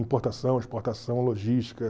Importação, exportação, logística.